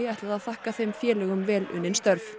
ætlaði að þakka þeim félögum vel unnin störf